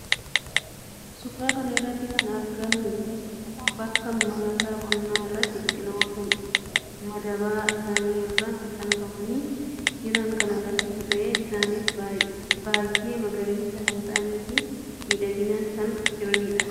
Suuraa kan irratti kan argamu bakka maasaa qonnaa irratti biqiloota madaba isaanii irraa maxxanfamanii jiran kan agarsiisuu ta'ee isaannis baayyee magariisa kan ta'aniif miidhaganii kan jiraniidha. Biqiloonni kun madaba kana irraas maxxanfamanii kan jiraniidha.